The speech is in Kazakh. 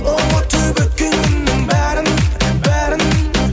ұмытып өткен күннің бәрін бәрін